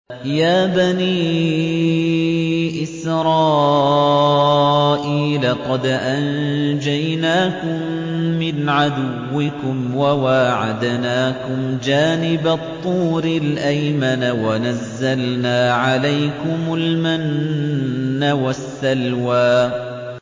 يَا بَنِي إِسْرَائِيلَ قَدْ أَنجَيْنَاكُم مِّنْ عَدُوِّكُمْ وَوَاعَدْنَاكُمْ جَانِبَ الطُّورِ الْأَيْمَنَ وَنَزَّلْنَا عَلَيْكُمُ الْمَنَّ وَالسَّلْوَىٰ